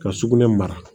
Ka sugunɛ mara